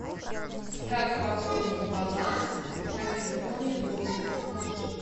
как пополнить баланс на телефоне другу